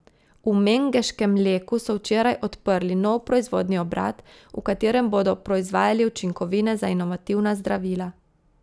V mengeškem Leku so včeraj odprli nov proizvodni obrat, v katerem bodo proizvajali učinkovine za inovativna zdravila.